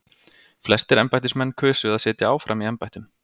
Flestir embættismenn kusu að sitja áfram í embættum.